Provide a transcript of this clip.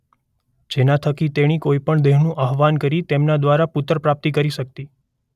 જેના થકી તેણી કોઈ પણ દેવનું આવાહન્ કરી તેમના દ્વારા પુત્ર પ્રાપ્તિ કરી શકતી.